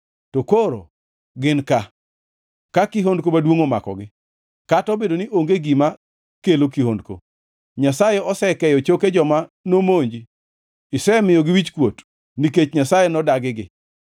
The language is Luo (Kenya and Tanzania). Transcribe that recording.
To koro gin ka, ka kihondko maduongʼ omakogi, kata obedo ni onge gima kelo kihondko. Nyasaye osekeyo choke joma nomonji; isemiyogi wichkuot, nikech Nyasaye nodagigi.